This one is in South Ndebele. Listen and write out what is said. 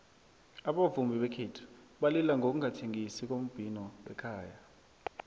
abavumi bekhethu balila ngokungathengisi kombhino wekhaya